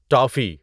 toffee